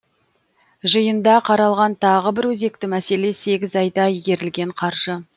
жиында қаралған тағы бір өзекті мәселе сегіз айда игерілген қаржы